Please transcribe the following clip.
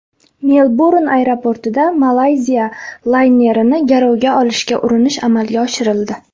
Melburn aeroportida Malayziya laynerini garovga olishga urinish amalga oshirildi.